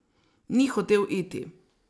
Ni hotel iti.